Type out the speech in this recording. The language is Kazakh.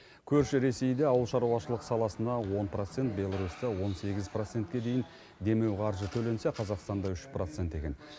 көрші ресейде ауылшаруашылық саласына он процент беларусьта он сегіз процент дейін демеу қаржы төленсе қазақстанда үш процент екен